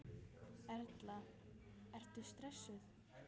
Erla: Ertu stressaður?